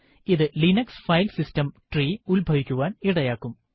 ഇത് Linux file system tree ഉത്ഭവിക്കുവാൻ ഇടയാകും